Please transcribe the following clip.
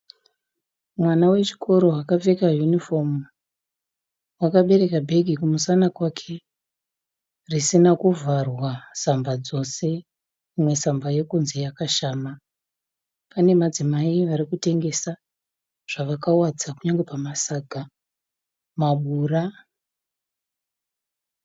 Mwana wechikoro akapfeka yunifomu. Akabereka bhege kumusana kwake risina kuvharwa samba dzose. Imwe samba yokunze yakashama. Pane madzimai arikutengesa zvavakawadza kunyangwe pamasaga mabura.